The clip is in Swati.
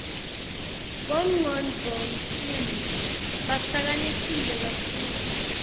bomgcondvomshini bahlakaniphile kakhulu